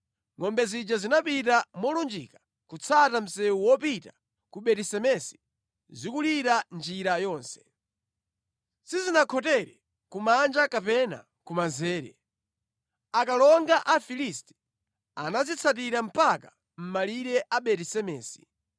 Ngʼombe zija zinapita molunjika kutsata msewu wopita ku Beti Semesi zikulira njira yonse. Sizinakhotere kumanja kapena kumanzere. Akalonga a Afilisti anazitsatira mpaka mʼmalire a Beti-Semesi.